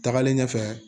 Tagalen ɲɛfɛ